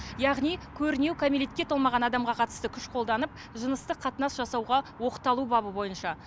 яғни көрнеу кәмелетке толмаған адамға қатысты күш қолданып жыныстық қатынас жасауға оқталу бабы бойынша